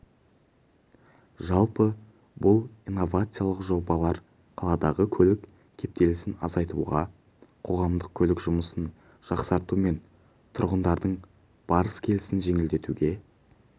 жалпы бұл инновациялық жобалар қаладағы көлік кептелісін азайтуға қоғамдық көлік жұмысын жақсарту мен тұрғындардың барыс-келісін жеңілдетуге